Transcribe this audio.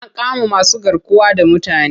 An kama masugarkuwa da mutane.